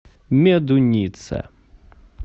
медуница